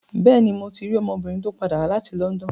Bẹ́ẹ̀ni, mo ti rí ọmọbìnrin tó padà wá láti London.